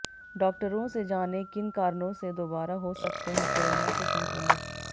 डॉक्टरों से जानें किन कारणों से दोबारा हो सकते हैं कोरोना से संक्रमित